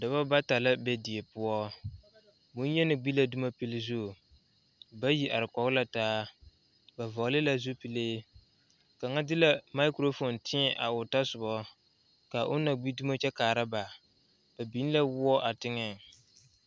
Noba la a kyɛne bamine de la wiɛ a yeere yeere baagre kaŋa soba meŋ e la gbɛre a zeŋ gbɛre saakere poɔ kyɛ kaa kaŋa soba paŋ daare o ,o meŋ yeere la baagi o puori.